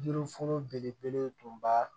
Jiri funfun belebele tun ba